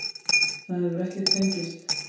Það hefur ekki fengist.